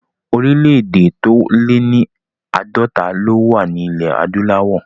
Orílẹ̀ èdè tó lé ní àádọ́ta ló wà ní ilẹ̀ adúláwọ̀